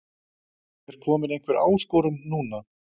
En er komin einhver áskorun núna?